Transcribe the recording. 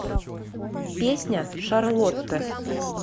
песня шарлотта